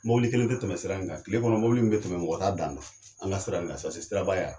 Mɔbili kelen tɛ tɛmɛ sira in kan, kile kɔnɔ mɔbili in bɛ tɛmɛ mɔgɔ t'a dan don an ka sira in ka, sase siraba ya